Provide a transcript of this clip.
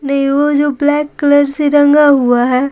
वो जो black colour से रंगा हुआ है।